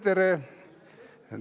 Tere-tere!